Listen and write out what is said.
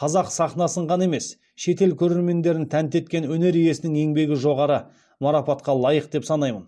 қазақ сахнасын ғана емес шетел көрермендерін тәнті еткен өнер иесінің еңбегі жоғары марапатқа лайық деп санаймын